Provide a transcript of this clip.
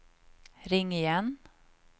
ring igen